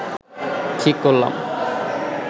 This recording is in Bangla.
ঠিক করলাম